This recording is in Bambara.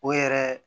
O yɛrɛ